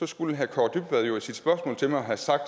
skulle herre kaare dybvad jo i sit spørgsmål til mig have sagt